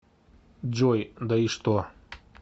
джой да и что